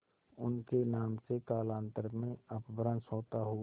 उनके नाम से कालांतर में अपभ्रंश होता हुआ